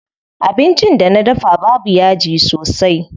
Abincin da na dafa babu yaji sosai.